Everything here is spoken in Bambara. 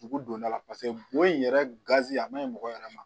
Dugu dondala paseke bon in yɛrɛ gazi a maɲi mɔgɔ yɛrɛ ma